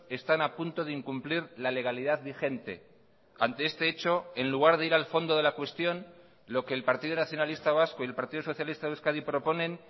están a punto de incumplir la legalidad vigente ante este hecho en lugar de ir al fondo de la cuestión lo que el partido nacionalista vasco y el partido socialista de euskadi proponen